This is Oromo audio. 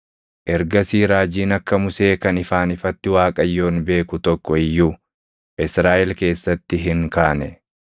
Ergasii raajiin akka Musee kan ifaan ifatti Waaqayyoon beeku tokko iyyuu Israaʼel keessatti hin kaane;